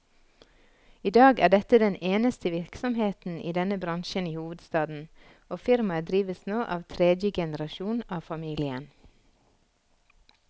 I dag er dette den eneste virksomheten i denne bransjen i hovedstaden, og firmaet drives nå av tredje generasjon av familien.